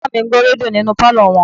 Bàbá mi ń gbọ́ rédíò nínú pálọ̀ wọn